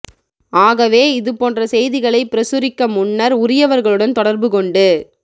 ஆகவே இது போன்ற செய்திகளை பிரசுரிக்க முன்னர் உரியவர்களுடன் தொடர்பு கொண்டு